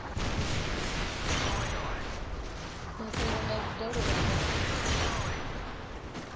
mafhungo nga vhudalo vha nga